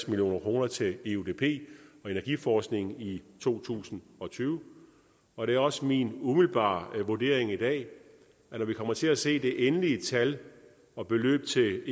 million kroner til eudp og energiforskning i to tusind og tyve og det er også min umiddelbare vurdering i dag at når vi kommer til at se det endelige tal og beløbet til